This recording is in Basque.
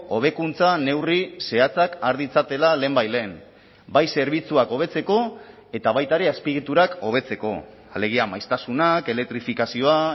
hobekuntza neurri zehatzak har ditzatela lehenbailehen bai zerbitzuak hobetzeko eta baita ere azpiegiturak hobetzeko alegia maiztasunak elektrifikazioa